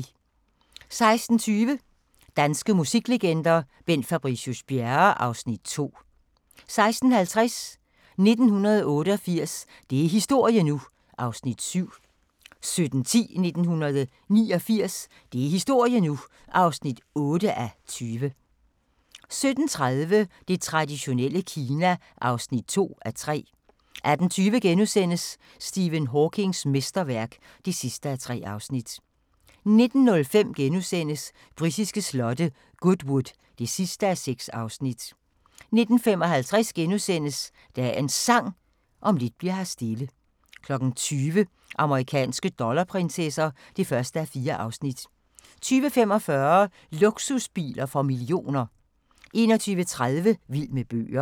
16:20: Danske musiklegender: Bent Fabricius-Bjerre (Afs. 2) 16:50: 1988 – det er historie nu! (7:20) 17:10: 1989 – det er historie nu! (8:20) 17:30: Det traditionelle Kina (2:3) 18:20: Stephen Hawkings mesterværk (3:3)* 19:05: Britiske slotte: Goodwood (6:6)* 19:55: Dagens Sang: Om lidt bli'r her stille * 20:00: Amerikanske dollarprinsesser (1:4) 20:45: Luksusbiler for millioner 21:30: Vild med bøger